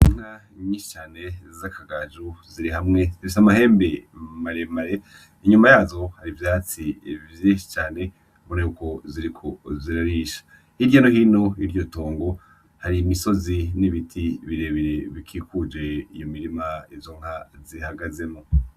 Inka nyinshi cane za kagajo ziri hamwe zifise amahembe maremare, nyuma yazo hari ivyatsi vyinshi cane ubona yuko ziriko zirarisha, hirya no hino yiryo tongo hari imisozi n'ibiti birebire bikikuje iyo mirima izo nka zihagazemwo.